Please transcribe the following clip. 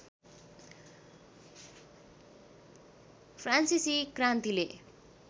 फ्रान्सिसी क्रान्तिले